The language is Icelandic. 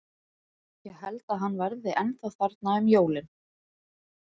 Ég held að hann verði ennþá þarna um jólin.